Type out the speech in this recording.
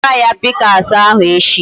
Wegara ya pick axe ahu echi